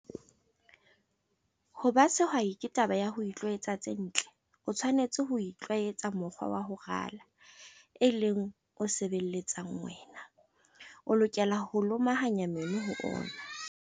Ho ba sehwai ke taba ya ho itlwaetsa tse ntle. O tshwanetse ho itlwaetsa mokgwa wa ho rala, e leng o sebeletsang wena. O lokela ho lomahanya meno ho ona.